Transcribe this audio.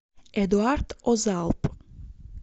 эдуард озалп